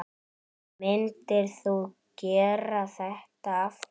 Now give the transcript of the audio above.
Myndir þú gera þetta aftur?